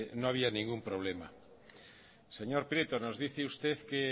no había ningún problema señor prieto nos dice usted